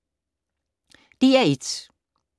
DR1